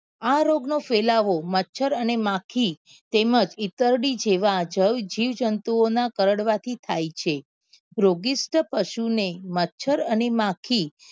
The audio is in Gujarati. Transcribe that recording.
આ રોગ નો ફેલાવો મચ્છર અને માખી તેમજ ઇતરડી જેવા જવ જીવ જંતુઓ ના કરડવા થી થાય છે રોગીષ્ટ પશુ ને મચ્છર અને માખી